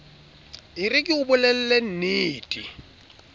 e re ke o bolellennete